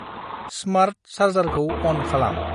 Smart चार्जारखौ अन खालाम।